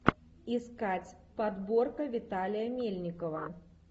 искать подборка виталия мельникова